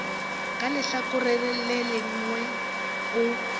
ka lehlakoreng le lengwe o